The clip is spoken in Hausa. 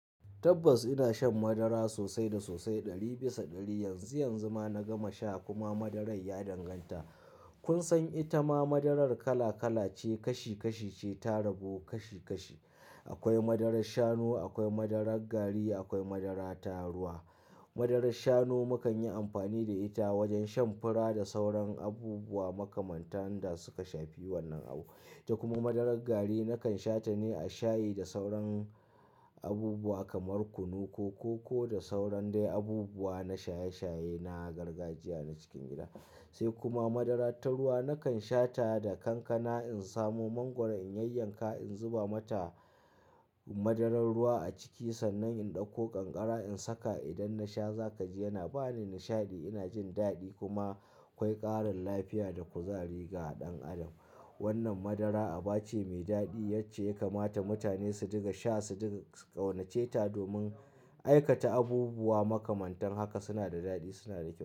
Tabbas ina shan madara sosai da sosai ɗari bisa ɗari. Yanzu yanzu ma na gama sha kuma madaran ya danganta. Kun san ita ma madarar kala kala ce, kashi kashi ce, ta rabu kashi kashi. Akwai madarar shanu, akwai madarar gari, akwai madara ta ruwa. Madarar shanu mu kan yi amfani da ita wajen shan fura da sauran abubuwa makamanta da suka shafi wannan abu. Kuma madarar gari na kan sha ta ne a shayi da sauran abubuwa kamar kunu ko koko da sauran dai abubuwa na shaye shaye na gargajiya na cikin gida. Sai kuma madara ta ruwa na kan sha ta da kankana in samo mangwaro in yayyanka in zuba mata madarar ruwa a ciki sannan in ɗauko ƙanƙara in saka idan na sha za ka ji yana ba ni nishaɗi, ina jin daɗi kuma akwai ƙarin lafiya da kuzari ga ɗan adam. Wannan madara aba ce mai daɗi yace ya kamata mutane su riƙ sha, su riƙa ƙaunace ta domin aikata abubuwa makamantan haka suna da daɗi suna da kyau.